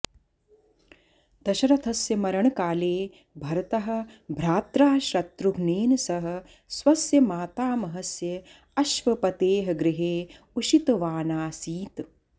दशरथस्य मरणकाले भरतः भ्रात्रा शत्रुघ्नेन सह स्वस्य मातामहस्य अश्वपतेः गृहे उषितवानासीत्